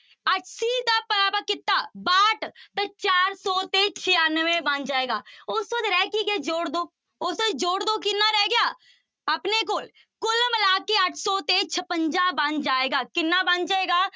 ਅੱਸੀ ਤੇ ਭਾਗ ਕੀਤਾ ਬਾਹਠ ਤੇ ਚਾਰ ਸੌ ਤੇ ਛਿਆਨਵੇਂ ਬਣ ਜਾਏਗਾ, ਉਸ ਤੋਂ ਬਾਅਦ ਰਹਿ ਕੀ ਗਿਆ ਜੋੜ ਦਓ, ਉਹ ਤੇ ਜੋੜ ਦਓ ਕਿੰਨਾ ਰਹਿ ਗਿਆ, ਆਪਣੇ ਕੋਲ ਕੁੱਲ ਮਿਲਾ ਕੇ ਅੱਠ ਸੌ ਤੇ ਛਪੰਜਾ ਬਣ ਜਾਏਗਾ, ਕਿੰਨਾ ਬਣ ਜਾਏਗਾ